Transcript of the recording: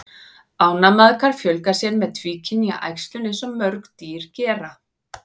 Ánamaðkar fjölga sér með tvíkynja æxlun eins og mörg dýr gera.